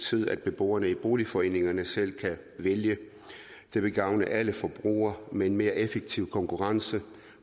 tide at beboerne i boligforeningerne selv kan vælge det vil gavne alle forbrugere med en mere effektiv konkurrence